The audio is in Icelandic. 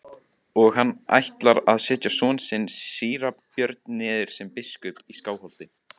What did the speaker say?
Og hann ætlar að setja son sinn síra Björn niður sem biskup í Skálholti.